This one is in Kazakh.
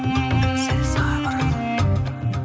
сәл сабыр